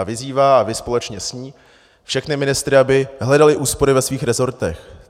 A vyzývá, a vy společně s ní, všechny ministry, aby hledali úspory ve svých rezortech.